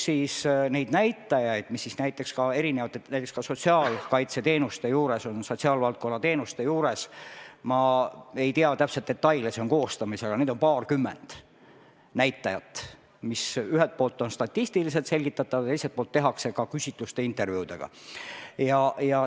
Siis on kirjas näitajaid, mis on erinevate teenuste, näiteks ka sotsiaalkaitseteenuste, sotsiaalvaldkonna teenuste juures – ma ei tea täpsed detaile, dokument on alles koostamisel, aga seal on paarkümmend näitajat –, mis ühelt poolt on statistiliselt selgitatavad ja teiselt poolt tehakse ka küsitluste-intervjuudega.